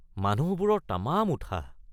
মানুহবোৰৰ তামাম উৎসাহ!